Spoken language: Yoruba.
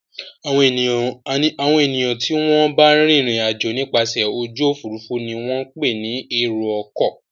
Àwọn ènìyàn tí wọ́n ń bá rìnrìn-àjò nípasẹ̀ ojú òfurufú ni wọ́n ń pè ní èrò-ọkọ̀.